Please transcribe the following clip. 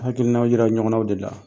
Hakilina yira ɲɔgɔnnaw de la